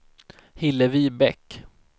Hillevi Bäck